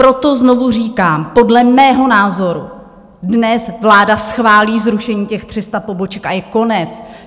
Proto znovu říkám, podle mého názoru dnes vláda schválí zrušení těch 300 poboček a je konec.